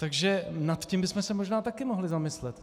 Takže nad tím bychom se možná taky měli zamyslet.